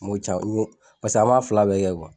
M'o ca n y'o paseke an m'a fila bɛɛ kɛ